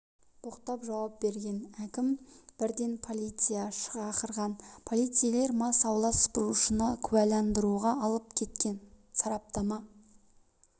боқтап жауап берген әкім бірден полиция шақырған полицейлер мас аула сыпырушыны куәләндыруға алып кеткен сараптама